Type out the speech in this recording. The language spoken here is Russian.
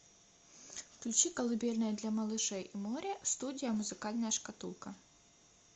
включи колыбельные для малышей и море студия музыкальная шкатулка